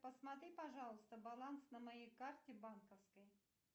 посмотри пожалуйста баланс на моей карте банковской